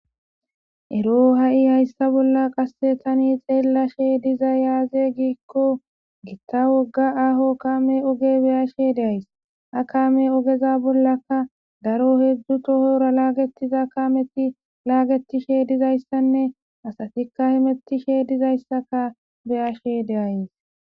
Ero ha'i hayissa bolla taani xelashshe dizay aze gikko giitta wogga aho kaamme ooge bolla be"ashe dayisse ha kaammey ogeza bolakka daro hezdzdu tohora lagetiza dizayissanne asatikka hemetishshe dizayssakka beyashshe de'ays